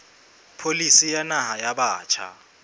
pholisi ya naha ya batjha